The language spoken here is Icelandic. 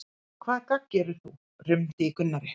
Hvaða gagn gerir þú? rumdi í Gunnari.